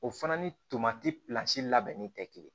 O fana ni tomanti pilasi labɛnni tɛ kelen ye